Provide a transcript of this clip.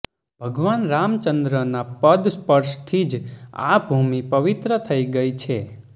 ભગવાન રામચંદ્રના પદસ્પર્શથી જ આ ભૂમિ પવિત્ર થઈ છે